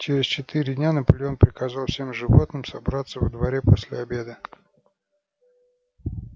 через четыре дня наполеон приказал всем животным собраться во дворе после обеда